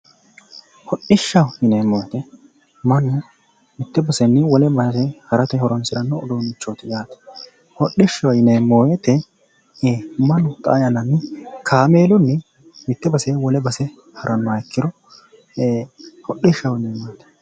hodhishshaho yineemmohu mannu mitte basenni wole base harate horonsiranno uduunnichooti yaate hodhishshaho yineemmo wote mannu xaa yannara kaameelunni mitte basenni wole base harannoha ikkiro hodhishshaho yineemmo.